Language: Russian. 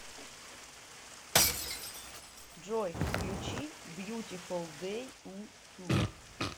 джой включи бьютифул дэй уту